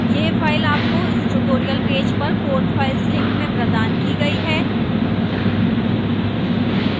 यह file आपको इस tutorial पेज पर code files link में प्रदान की गई है